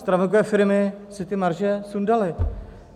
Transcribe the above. Stravenkové firmy si ty marže sundaly.